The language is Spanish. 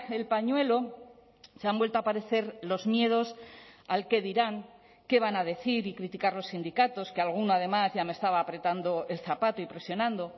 el pañuelo se han vuelto a aparecer los miedos al qué dirán qué van a decir y criticar los sindicatos que alguno además ya me estaba apretando el zapato y presionando